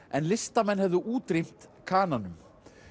en listamenn hefðu útrýmt Kananum